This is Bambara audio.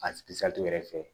A yɛrɛ fɛ